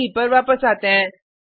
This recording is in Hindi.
इडे पर वापस आते हैं